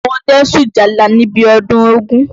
Àwọn ọdẹ ń sùn ìjálá níbi ọdún ògún.